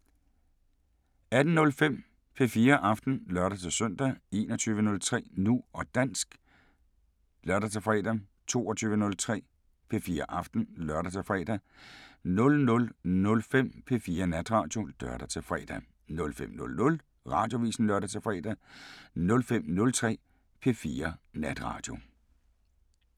18:05: P4 Aften (lør-søn) 21:03: Nu og dansk (lør-fre) 22:03: P4 Aften (lør-fre) 00:05: P4 Natradio (lør-fre) 05:00: Radioavisen (lør-fre) 05:03: P4 Natradio